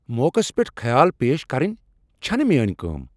موقعس پیٚٹھ خیال پیش کرٕنۍ چھنہٕ میٲنۍ کٲم۔